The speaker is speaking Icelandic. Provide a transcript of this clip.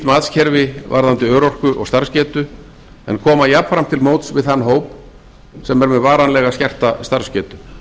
matskerfi varðandi örorku og starfsgetu en koma jafnframt til móts við þann hóp sem er með varanlega skerta starfsgetu